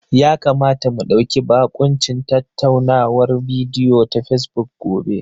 Ya kamata mu ɗauki bakuncin tattaunawar bidiyo ta Fesbuk gobe.